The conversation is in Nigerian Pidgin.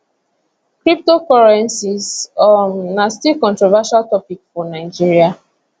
cryptocurrencies um na still controversial topic for nigeria